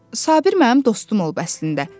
Sabir mənim dostum olub əslində.